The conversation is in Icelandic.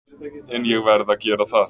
En ég verð að gera það.